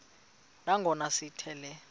nangona sithi le